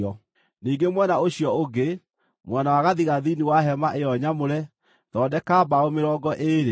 Ningĩ mwena ũcio ũngĩ, mwena wa gathigathini wa hema ĩyo nyamũre, thondeka mbaũ mĩrongo ĩĩrĩ